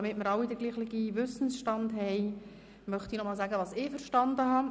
Damit wir jetzt alle den gleichen Wissensstand haben, möchte ich zusammenfassen, was ich verstanden habe.